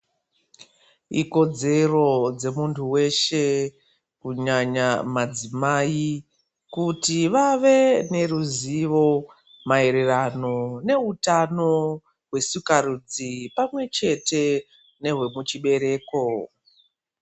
Ikodzero dzemuntu weshe kunyanya madzimai, kuti vave neruzivo mayererano nehutano wesikarudzi pamwe chete nehwe kuchibereko.